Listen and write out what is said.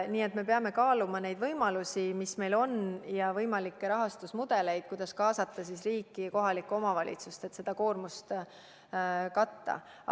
Nii et me peame kaaluma neid võimalusi, mis meil on, ja võimalikke rahastusmudeleid, kuidas kaasata riiki ja kohalikku omavalitsust, et seda koormust katta.